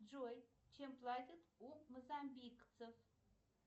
джой чем платят у мозамбикцев